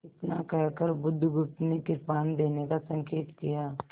इतना कहकर बुधगुप्त ने कृपाण देने का संकेत किया